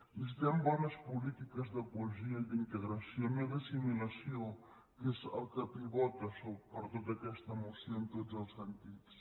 necessitem bones po·lí tiques de cohesió i d’integració no d’assimilació que és el que pivota per tota aquesta moció en tots els sen·tits